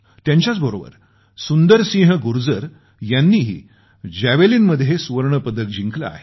त्यांच्याच बरोबर सुंदर सिंह गुर्जर यांनी ही भालाफेकमध्ये सुवर्ण पदक जिंकले आहे